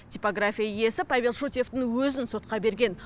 типография иесі павел шутьевтің өзін сотқа берген